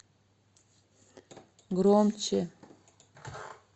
громче